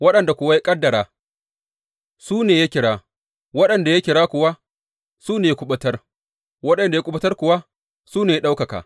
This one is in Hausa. Waɗanda kuwa ya ƙaddara, su ne ya kira; waɗanda ya kira kuwa, su ne ya kuɓutar; waɗanda ya kuɓutar kuwa, su ne ya ɗaukaka.